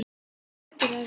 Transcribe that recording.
Hvernig stendur á þessu?